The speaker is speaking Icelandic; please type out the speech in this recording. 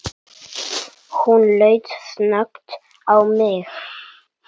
Hún leit snöggt á mig